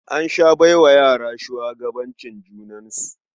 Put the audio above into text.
An sha bai wa yara shugabancin junansu.